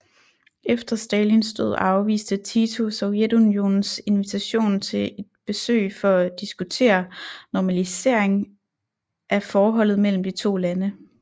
Efter Stalins død afviste Tito Sovjetunionens invitation til et besøg for at diskutere normalisering af forholdet mellem de to lande